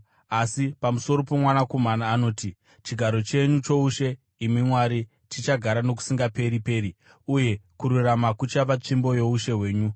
Asi pamusoro poMwanakomana anoti, “Chigaro chenyu choushe, imi Mwari, chichagara nokusingaperi-peri, uye kururama kuchava tsvimbo youshe hwenyu.